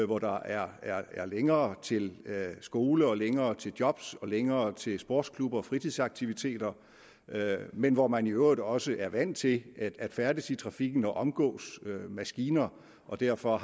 hvor der er er længere til skole længere til job og længere til sportsklubber og fritidsaktiviteter men hvor man i øvrigt også er vant til at færdes i trafikken og omgås maskiner og derfor